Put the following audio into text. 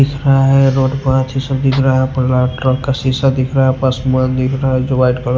दिख रहा है रोड पथ ये सब दिख रहा है पर ट्रक का शीशा दिख रहा है पर आसमान दिख रहा है जो वाइट--